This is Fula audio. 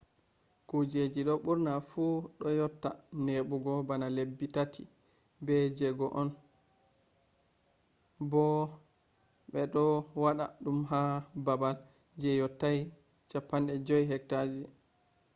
kujeji do burna fu do yotta nebugo bana lebbi tati be jego on bo be do wada dum ha babal je yottai 50 hecta ji